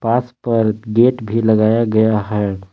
पास पर गेट भी लगाया गया है।